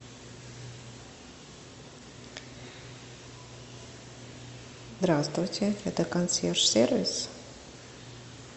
здравствуйте это консьерж сервис